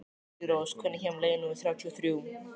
Júlírós, hvenær kemur leið númer þrjátíu og þrjú?